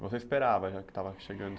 Você esperava já que estava chegando